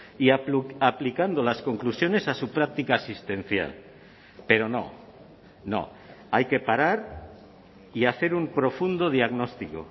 y aplicando las conclusiones a su práctica asistencial pero no no hay que parar y hacer un profundo diagnóstico